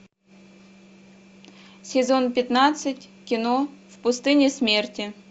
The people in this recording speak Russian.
сезон пятнадцать кино в пустыне смерти